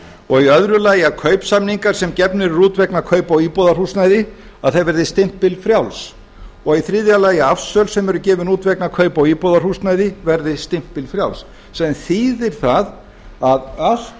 og í öðru lagi að kaupsamningar sem gefnir eru út vegna kaupa á íbúðarhúsnæði verði stimpilfrjáls og í þriðja lagi að afsöl sem eru gefin út vegna kaupa á íbúðarhúsnæði verði stimpilfrjáls sem þýðir það að allt